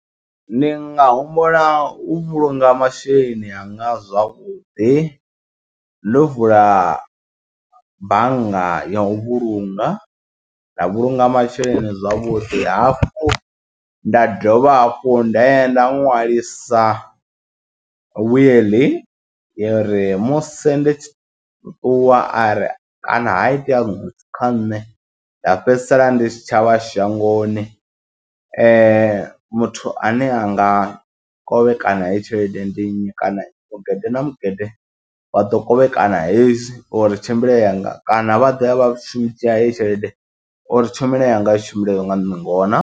Ndi nga humbula u vhulunga masheleni anga zwavhuḓi ḽo vula bannga ya u vhulunga nda vhulunga masheleni zwavhuḓi hafhu, nda dovha hafhu nda ya nda ṅwalisa wiḽi uri musi ndi tshi ṱuwa are kana ha itea kha nṋe nda fhedzisela ndi tshi tshavha shangoni muthu ane a anga kovhekana heyi tshelede ndi nnyi kana mugede na mugede waḓo kovhekana hezwi uri tshimbile yanga kana vha ḓo ya vhashumi dzhia heyi tshelede uri tshomelo yanga i tshimbile nga ngona.